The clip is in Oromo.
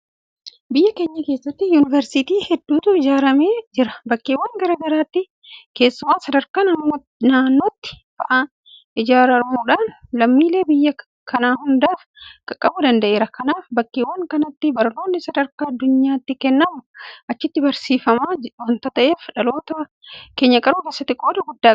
Biyya keenya keessatti Yuunivarsiitiiwwan hedduutu ijaaramee jira. Bakkeewwan garaa garaatti keessumaa sadarkaa naannootti fa'aa ijaaramuudhaan lammiilee biyya kanaa hundaaf qaqqabuu danda'eera. Kanaaf bakkeewwan kanatti barnoonni sadarkaa addunyaatti kennamu achitti barsiifama waanta ta'eef dhaloota keenya qaruu keessatti qooda guddaa qaba.